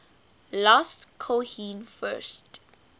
last cohen first